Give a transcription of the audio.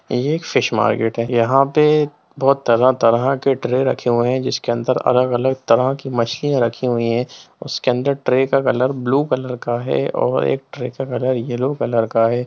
ये एक fish market है यहाँ पे तरह-तरह के ट्रे रखे हुए हैं जिसके अंदर अलग-अलग तरह की मशीन रखी हुई है उसके अंदर ट्रे का कलर ब्लू कलर का है और एक ट्रे का कलर येलो कलर का है।